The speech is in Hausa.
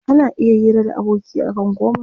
Ana iya hira da aboki akan komai.